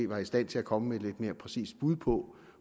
var i stand til at komme med et lidt mere præcist bud på